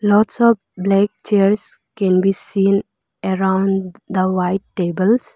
lots of black chairs can be seen around the white tables.